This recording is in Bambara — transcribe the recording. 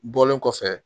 Bɔlen kɔfɛ